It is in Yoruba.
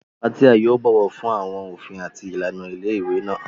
Fathia yóò bọ̀wọ̀ fún àwọn òfin àti ìlànà ilé ìwé náà.